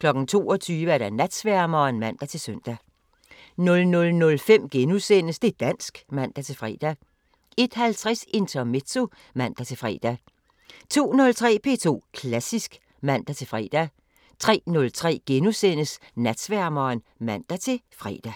22:00: Natsværmeren (man-søn) 00:05: Det' dansk *(man-fre) 01:50: Intermezzo (man-fre) 02:03: P2 Klassisk (man-fre) 03:03: Natsværmeren *(man-fre)